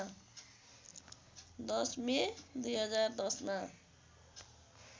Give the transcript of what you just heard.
१० May २०१० मा